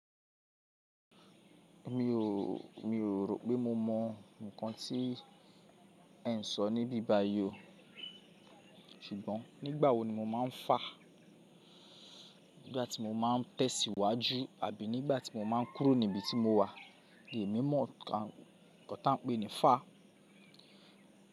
Mi ò, mi ò rò pé mo mọ nǹkan tí ẹ ń sọ níbíbáyí o. Ṣùgbọ́n nígbà wo ni mo máa ń fà? Nígbà tí mo máa ń tẹ̀síwájú àbí nígbà tí mo máa ń kúrò ní ibi tí mo wà ni èmi mọ nǹkan tan pe ní fà?